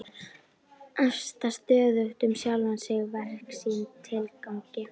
Efast stöðugt um sjálfan sig, verk sín, tilgang sinn.